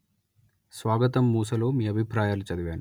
స్వాగతం మూసలో మీ అభిప్రాయాలు చదివాను